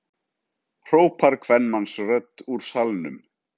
hrópar kvenmannsrödd úr salnum.